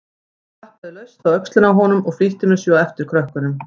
Ég klappaði laust á öxlina á honum og flýtti mér svo á eftir krökkunum.